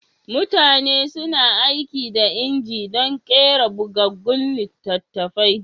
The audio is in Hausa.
Mutane suna aiki da inji dun ƙera bugaggun littatafai